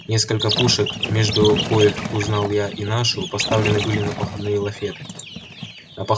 несколько пушек между коих узнал я и нашу поставлены были на походные лафеты на пах